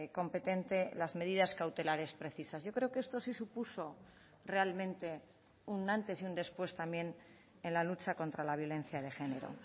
competente las medidas cautelares precisas yo creo que esto sí supuso realmente un antes y un después también en la lucha contra la violencia de género